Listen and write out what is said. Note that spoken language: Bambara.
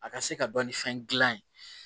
A ka se ka dɔnni fɛn gilan ye